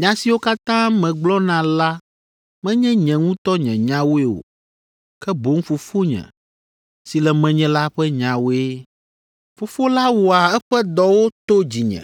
Nya siwo katã megblɔna la menye nye ŋutɔ nye nyawoe o, ke boŋ Fofonye si le menye la ƒe nyawoe. Fofo la wɔa eƒe dɔwo to dzinye.